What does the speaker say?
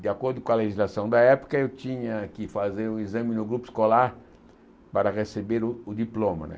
De acordo com a legislação da época, eu tinha que fazer o exame no grupo escolar para receber o o diploma né.